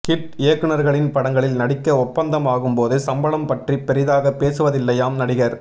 hit இயக்குநா்களின் படங்களில் நடிக்க ஒப்பந்தம் ஆகும் போது சம்பளம் பற்றி பொிதாக பேசுவதில்லையாம் நடிகா்